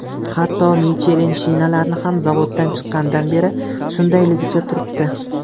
Hatto Michelin shinalari ham zavoddan chiqqanidan beri shundayligicha turibdi.